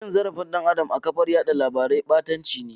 Cin zarafin dan Adam a kafar yada labarai batanci ne.